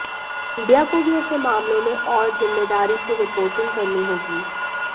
media को भी ऐसे मामलों में और जिम्मेदारी से रिपोर्टिंग करनी होगी